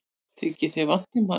Þykir þér vænt um hann?